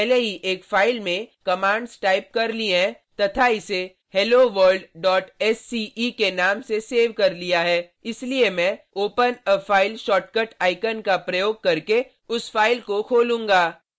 मैंने पहले ही एक फाइल में कमांड्स टाइप कर ली हैं तथा इसे helloworldsce के नाम से सेव कर लिया है इसलिए मैं open a file shortcut icon का प्रयोग करके उस फाइल को खोलूंगा